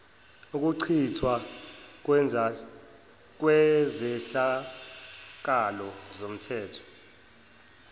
ukuchithwa kwezehlakalo zomthetho